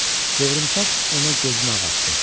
Qıvrımsaç ona gözünü ağartdı.